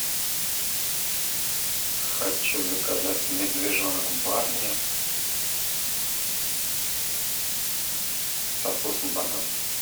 хочу заказать медвежонок барни со вкусом банана